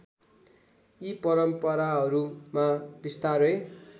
यी परम्पराहरूमा बिस्तारै